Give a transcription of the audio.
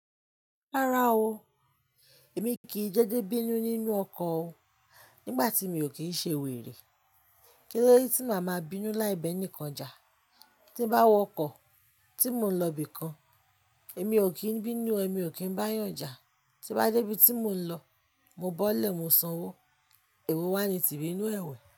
Rárá o, èmi kì í dédé bínú nínú ọkọ̀ o. Nígbà tí mi ò kí ń ṣe wèrè. Kílódé tí màá ma bínú láì bẹ́ ní kán jà. Tí bá wọ ọkọ̀ tí mò ń lọ ibìkan, èmi ò kí ń bínú, èmi ò kí ń bá yànja. Tí bá dé ibi tí mò ń lọ, mo bọ́lẹ̀, mo sanwó, èwo wá ní ti bínú ẹwẹ̀?